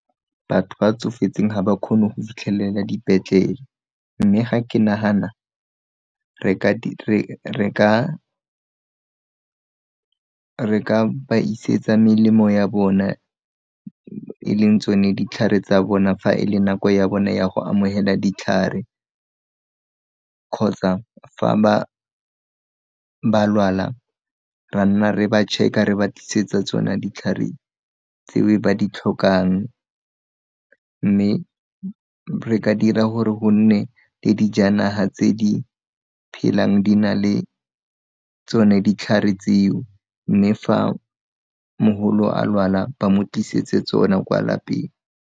Batho ba tsofetseng ga ba kgone go fitlhelela dipetlele, mme ga ke nagana re ka ba isetsa melemo ya bona, e leng tsone ditlhare tsa bona fa e le nako ya bone ya go amogela ditlhare kgotsa fa ba lwala ra nna re ba check-a re ba tlisetsa tsona ditlhare tseo ba ditlhokang, mme re ka dira gore go nne le dijanaga tse di phelang di na le tsone ditlhare tseo mme fa mogolo a lwala ba mo tlisetse tsona kwa lapeng.